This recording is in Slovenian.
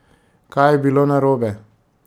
Kaj je bilo narobe?